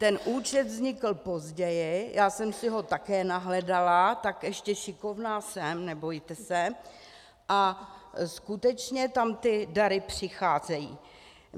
Ten účet vznikl později, já jsem si ho také nahledala, tak ještě šikovná jsem, nebojte se, a skutečně tam ty dary přicházejí.